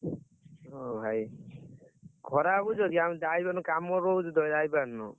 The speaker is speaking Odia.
ମୋ ଭାଇ ଖରାପ ଭାବୁଛ କି ଆମେ ଯାଇ ପାରୁନୁ କାମ ରହୁଛି ତ ଯାଇପାରୁନୁ?